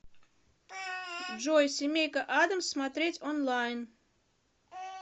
джой семейка аддамс смотреть онлайн